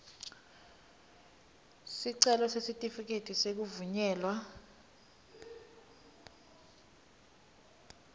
sicelo sesitifiketi sekuvunyelwa